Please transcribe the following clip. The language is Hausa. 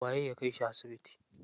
Waye ya kai shi asibiti?